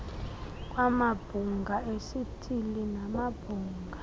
kwamabhunga esithili namabhunga